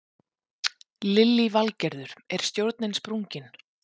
Lillý Valgerður: Er stjórnin sprungin?